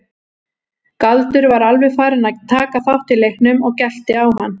Galdur var alveg farinn að taka þátt í leiknum og gelti á hann.